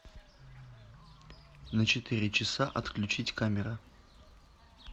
на четыре часа отключить камера